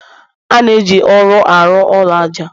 a na-eji ụrọ arụ ụlọ aja